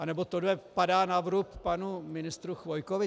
Nebo tohle padá na vrub panu ministru Chvojkovi?